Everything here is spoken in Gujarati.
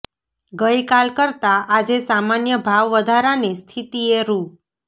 ગઈ કાલ કરતા આજે સામાન્ય ભાવ વધારાની સ્થિતિએ રૂ